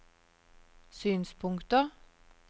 synspunkter